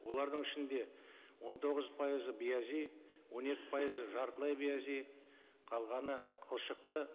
олардың ішінде он тоғыз пайызы биязи он екі пайызы жартылай биязи қалғаны қылшықты